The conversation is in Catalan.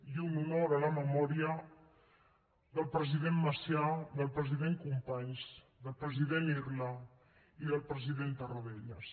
i un honor a la memòria del president macià del president companys del president irla i del president tarradellas